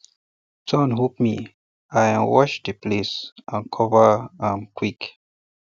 thorn hook me i um wash the place and cover um am um quick